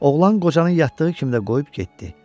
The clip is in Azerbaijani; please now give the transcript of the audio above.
Oğlan qocanın yatdığı kimi də qoyub getdi.